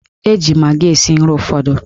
Eji magị esi nri ụfọdụ.